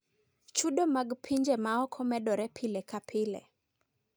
Chudo mag pinje maoko medore pile ka pile.